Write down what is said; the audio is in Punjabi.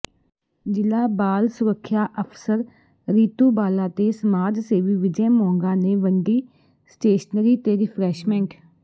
ਜਿਲਾ ਬਾਲ ਸੁਰੱਖਿਆ ਅਫਸਰ ਰੀਤੂ ਬਾਲਾ ਤੇ ਸਮਾਜਸੇਵੀ ਵਿਜੈ ਮੋਂਗਾ ਨੇ ਵੰਡੀ ਸਟੇਸ਼ਨਰੀ ਤੇ ਰਿਫਰੈਸ਼ਮੈਂਟ